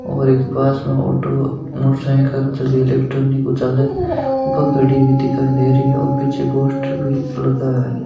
और एक पास में ऑटो मोटर साइकिल झाकी इलेक्ट्रॉनिक ऊ चाल खड़ी दिखाई दे रही है पीछे पोस्टर भी लगा है।